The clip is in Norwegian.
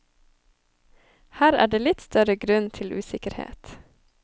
Her er det litt større grunn til usikkerhet.